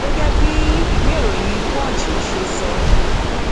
gẹgẹ bí ìwéèròyìn punch ṣe sọ